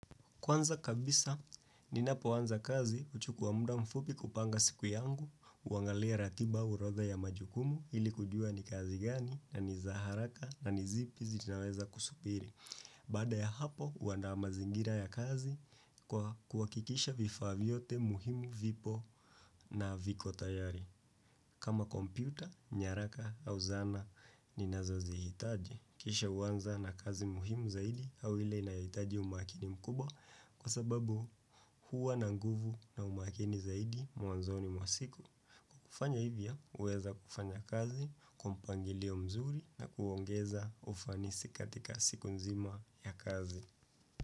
Kwanza kabisa, ninapoanza kazi huchukua muda mfupi kupanga siku yangu, kuangalia ratiba orodha ya majukumu ili kujua ni kazi gani na ni za haraka na ni zipi zinaweza kusubiri. Baada ya hapo, huanda mazingira ya kazi kwa kuhakikisha vifaa vyote muhimu vipo na viko tayari. Kama kompyuta, nyaraka au zana, ninazozihitaji. Kisha huanza na kazi muhimu zaidi au ile inayohitaji umakini mkubwa kwa sababu huwa na nguvu na umakini zaidi mwanzoni mwa siku. Kufanya hivyo huweza kufanya kazi, kwa mpangilio mzuri na kuongeza ufanisi katika siku nzima ya kazi.